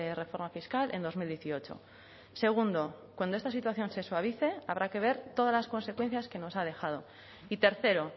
reforma fiscal en dos mil dieciocho segundo cuando esta situación se suavice habrá que ver todas las consecuencias que nos ha dejado y tercero